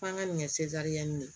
F'an ka nin kɛ nin ye